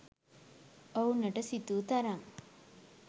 ඔවුනට සිතූ තරම්